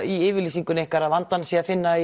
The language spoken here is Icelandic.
í yfirlýsingunni ykkar að vandann sé að finna